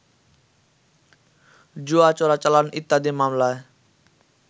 জুয়া, চোরাচালান ইত্যাদি মামলায়